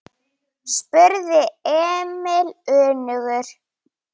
spurði Emil önugur.